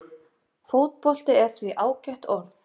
Fótbolti er því ágætt orð.